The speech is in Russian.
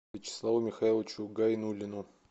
вячеславу михайловичу гайнуллину